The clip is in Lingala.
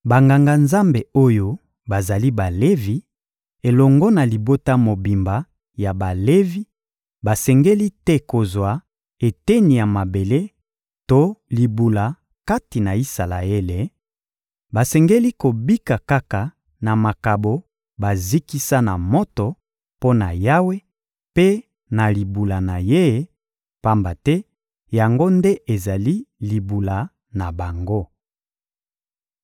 Banganga-Nzambe oyo bazali Balevi, elongo na libota mobimba ya Balevi basengeli te kozwa eteni ya mabele to libula kati na Isalaele; basengeli kobika kaka na makabo bazikisa na moto mpo na Yawe mpe na libula na Ye, pamba te yango nde ezali libula na bango.